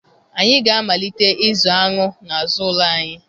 Anyị ga-amalite ịzụ aṅụ n'azụ ụlọ anyị